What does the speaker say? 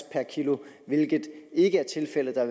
per kilo hvilket ikke er tilfældet der